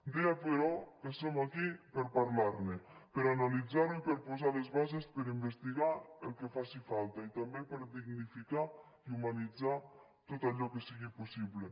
deia però que som aquí per parlar ne per analitzar ho i per posar les bases per investigar el que faci falta i també per dignificar i humanitzar tot allò que sigui possible